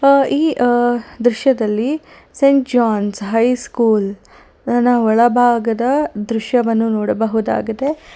ಆ ಈ ಆ ದೃಶ್ಯದಲ್ಲಿ ಸೆಂಟ್ ಜಾನ್ಸ್ ಹೈ ಸ್ಕೂಲ್ ನ ಒಳಭಾಗದ ದೃಶ್ಯವನ್ನು ನೋಡಬಹುದಾಗಿದೆ.